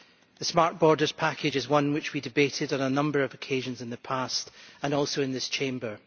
The Smart Borders Package is one which we have debated on a number of occasions in the past, including in this Chamber.